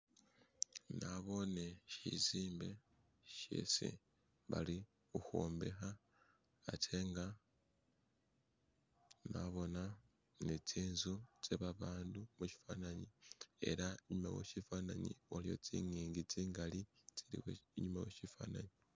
Nabone shizimbe shesi balikwombeka atenga nabona nizinzu ze' babantu mushifanani ela inyuma weshifananyi nabona zinyingi zingali zili inyuma weshifananyi